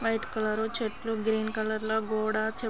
white colour చెట్లు green colour లో కూడా చెప్ --